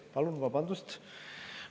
Palun vabandust!